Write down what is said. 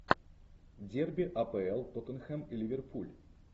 дерби апл тоттенхэм и ливерпуль